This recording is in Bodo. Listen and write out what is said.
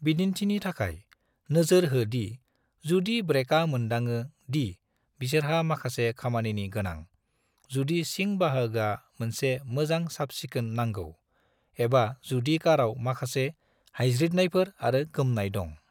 बिदिन्थिनि थाखाय, नोजोर हो दि जुदि ब्रेका मोन्दाङो दि बिसोरहा माखासे खामानिनि गोनां, जुदि सिं बाहागोआ मोनसे मोजां साफसिखोन नांगौ, एबा जुदि काराव माखासे हायज्रिदनायफोर आरो गोमनाय दं।